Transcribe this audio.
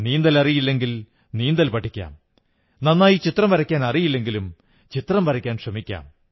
നീന്തലറിയില്ലെങ്കിൽ നീന്തൽ പഠിക്കാം നന്നായി ചിത്രം വരയ്ക്കാനറിയില്ലെങ്കിലും ചിത്രംവരയ്ക്കാൻ ശ്രമിക്കാം